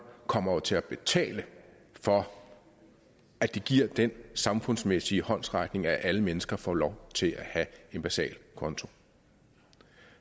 kommer til at betale for at de giver den samfundsmæssige håndsrækning at alle mennesker får lov til at have en basal konto